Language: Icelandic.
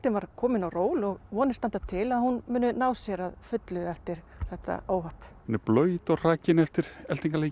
var komin á ról og vonir standa til að hún nái sér að fullu eftir þetta óhapp hún er blaut og hrakin eftir